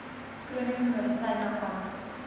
chroniese medisyne aansoek